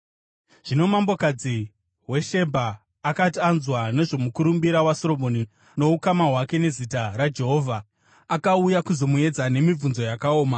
Zvino mambokadzi weShebha akati anzwa nezvomukurumbira waSoromoni noukama hwake nezita raJehovha, akauya kuzomuedza nemibvunzo yakaoma.